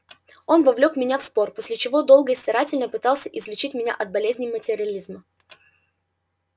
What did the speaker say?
он вовлёк меня в спор после чего долго и старательно пытался излечить меня от болезни материализма